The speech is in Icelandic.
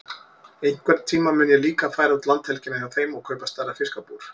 Einhvern tíma mun ég líka færa út landhelgina hjá þeim og kaupa stærra fiskabúr.